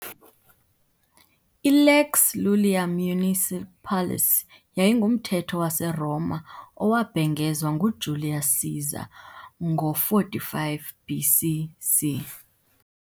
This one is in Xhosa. I-lex Iulia Municipalis yayingumthetho waseRoma owabhengezwa nguJulius Caesar ngo- 45 BC.C.